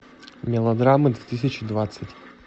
мелодрамы две тысячи двадцать